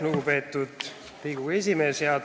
Lugupeetud Riigikogu esimees!